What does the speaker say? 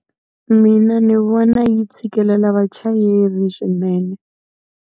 Mina ndzi vona yi tshikelela vachayeri swinene.